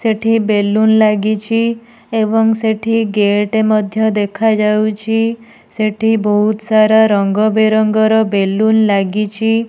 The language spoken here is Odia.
ସେଠି ବେଲୁନ୍ ଲାଗିଚି ଏବଂ ସେଠି ଗେଟ୍ ମଧ୍ୟ ଦେଖା ଯାଉଚି ସେଠି ବୋହୁତ୍ ସାରା ରଙ୍ଗ ବେରଙ୍ଗ ର ବେଲୁନ୍ ଲାଗିଚି।